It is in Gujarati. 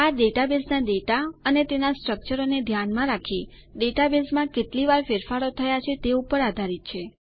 આ ડેટાબેઝના ડેટા અથવા તેનાં સ્ટ્રકચરને ધ્યાનમાં રાખીને ડેટાબેઝમાં કેટલી વાર ફેરફારો થયા છે તે ઉપર આધારિત છે